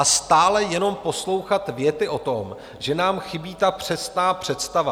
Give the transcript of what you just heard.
A stále jenom poslouchat věty o tom, že nám chybí ta přesná představa.